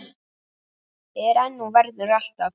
Er enn og verður alltaf.